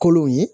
Kolon ye